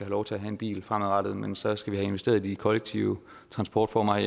lov til at have en bil fremadrettet men så skal vi have investeret i de kollektive transportformer